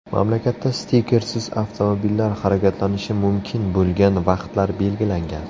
Mamlakatda stikersiz avtomobillar harakatlanishi mumkin bo‘lgan vaqtlar belgilangan .